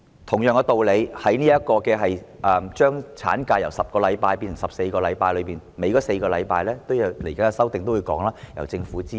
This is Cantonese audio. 同樣道理，接下來的修訂也會提出，將產假由10星期變成14星期，多出4星期的款項，應由政府支付。